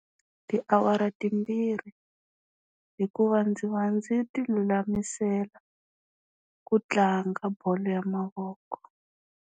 Tiawara timbirhi hikuva ndzi va ndzi ti lulamisela ku tlanga bolo ya mavoko.